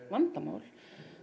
vandamál